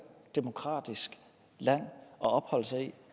demokratisk land at opholde sig i